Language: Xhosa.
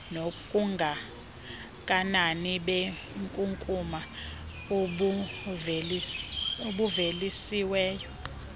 nobungakanani benkunkuma obuvelisiweyo